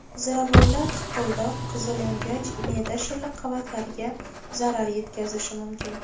Ziravorlar hiqildoq, qizilo‘ngach, me’da shilliq qavatlariga zarar yetkazishi mumkin.